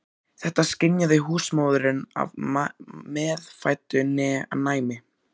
Þetta skynjaði húsmóðirin af meðfæddu næmi.